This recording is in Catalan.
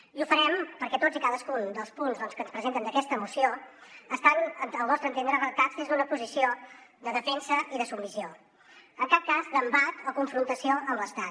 i ho farem perquè tots i cadascun dels punts que ens presenten en aquesta moció estan al nostre entendre redactats des d’una posició de defensa i de submissió en cap cas d’embat o confrontació amb l’estat